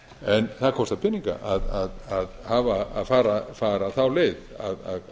en að kostar peninga að fara þá leið að